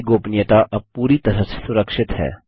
आपकी गोपनीयता प्राइवेसी अब पूरी तरह से सुरक्षित है